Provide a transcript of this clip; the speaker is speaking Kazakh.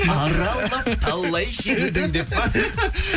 аралап талай жердің деп па